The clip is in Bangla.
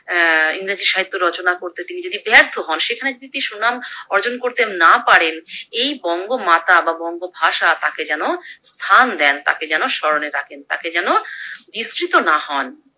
অ্যা ইংরেজি সাহিত্য রচনা করতে তিনি যদি ব্যর্থ হন সেখানে যদি তিনি সুনাম অর্জন করতে না পারেন এই বঙ্গমাতা বা বঙ্গভাষা তাকে যেন স্থান দেন, তাকে যেন স্মরণে রাখেন তাকে যেন না হন।